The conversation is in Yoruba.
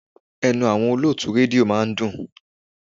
Ẹnu àwọn olótùú rédíò máa ń dùn.